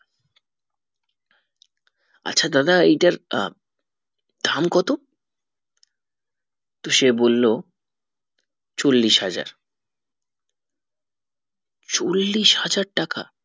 আচ্ছা দাদা এটার আহ দাম কত তো সে বললো চল্লিশ হাজার চল্লিশ হাজার টাকা